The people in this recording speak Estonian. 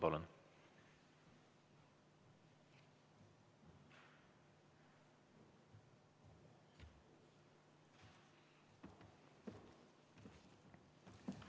Palun!